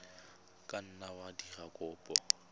ka nna wa dira kopo